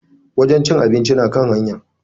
Wajen cin abinci na kan hanya.